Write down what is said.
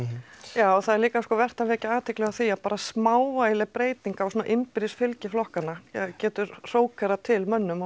já það er líka vert að vekja athygli á því að það bara smávægileg breyting á svona innbyrðis fylgi flokkanna það getur hrókerað til mönnum á